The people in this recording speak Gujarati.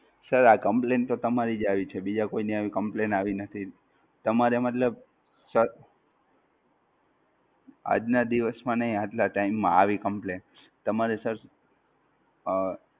Sir આ Complaint તો તમારી જ આવી છે બીજા કોઈ ની આવી Complaint આવી નથી. તમારે મતલબ, સર, આજ નાં દિવસ માં નહિ આટલા Time માં આવી Complaint, તમારે Sir અઃ